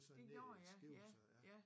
Det gjorde ja ja ja